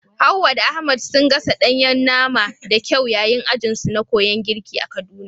Hawwa da Ahmad sun gasa ɗayen nama da kyau yayin ajin su na koyan girki a kaduna